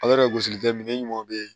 gosili kɛ minɛ ɲumanw be ye